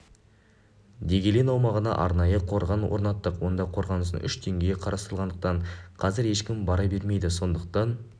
дегелең аумағына арнайы қорған орнаттық онда қорғаныстың үш деңгейі қарастырылғандықтан қазір ешкім бара бермейді сондықтан